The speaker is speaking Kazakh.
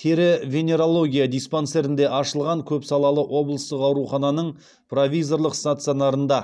тері венерология диспансерінде ашылған көпсалалы облыстық аурухананың провизорлық стационарында